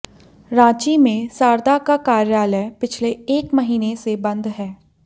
रांची में सारदा का कार्यालय पिछले एक महीने से बंद है